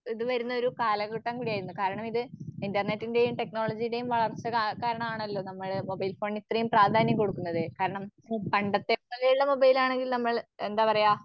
ഇത് വരുന്നൊരു കാലഘട്ടം കൂടിയായിരുന്നു. കാരണം ഇത് ഇൻറർനെറ്റിന്റെയും ടെക്നോളജിയുടെയും വളർച്ച കാ കാരണം ആണല്ലോ നമ്മള് മൊബൈൽഫോൺ ഇത്ര പ്രാധാന്യം കൊടുക്കുന്നത്. കാരണം പണ്ടത്തെ പോലെയുള്ള മൊബൈൽ ആണെങ്കിൽ നമ്മൾ എന്താപറയ